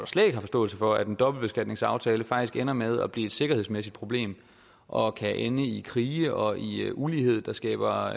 slet ikke har forståelse for at en dobbeltbeskatningsaftale faktisk ender med at blive et sikkerhedsmæssigt problem og kan ende i krige og i ulighed der skaber